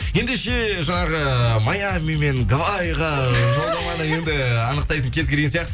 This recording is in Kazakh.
ендеше жаңағы маями мен гаваийға жолдаманы енді анықтайтын кез келген сияқты